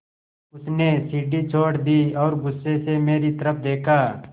उसने सीढ़ी छोड़ दी और गुस्से से मेरी तरफ़ देखा